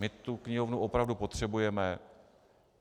My tu knihovnu opravdu potřebujeme.